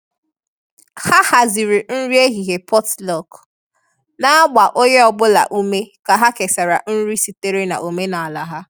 Ha haziri nri ehihie potluck, na-agba onye ọ bụla ume ka ha kesara nri sitere na omenala ha.